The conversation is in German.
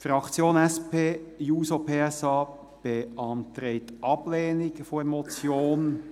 Die Fraktion SP-JUSO-PSA beantragt die Ablehnung der Motion.